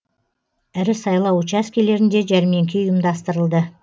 ірі сайлау учаскелерінде жәрмеңке ұйымдастырылды